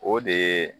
O de ye